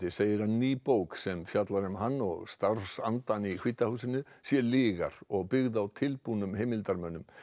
segir að ný bók sem fjallar um hann og starfsandann í hvíta húsinu sé lygar og byggð á tilbúnum heimildarmönnum